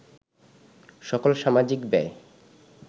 সকল সামাজিক ব্যয়